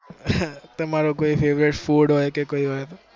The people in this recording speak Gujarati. તમારો કોઈ favorite food હોય કે કોઈ વાત.